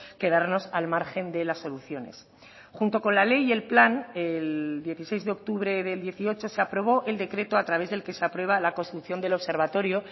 quedarnos al margen de las soluciones junto con la ley y el plan el dieciséis de octubre del dieciocho se aprobó el decreto a través del que se aprueba la construcción del observatorio